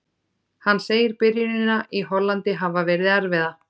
Hann segir byrjunina í Hollandi hafa verið erfiða.